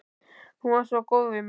Hún var svo góð við mig.